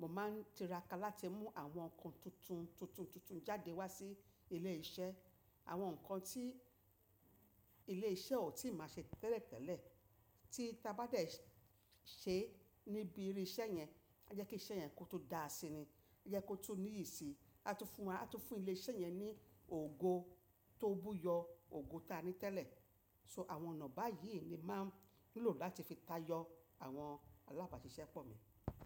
mo máa ń tiraka láti mú àwọn ǹkan tuntun tuntun tuntun jáde wá sí ilé iṣẹ́. Àwọn ǹkan tí ilé iṣẹ́ ò tí máa ṣe tẹ́lẹ̀ tẹ́lẹ̀ tí ta bá de ṣe níbi irú iṣẹ́ yẹn, ó jẹ́ kí iṣẹ́ yẹn kó tó dáa sí ni, ó jẹ́ kó tó níyì síi, á tó fún wa, á tó fún ilé iṣẹ́ yẹn ní ògo tó buyọ ògo ta ní tẹ́lẹ̀. So àwọn ọ̀nà báyìí ni màá ń lò láti fi tayọ àwọn alábàáṣiṣẹ́ pọ̀ mi.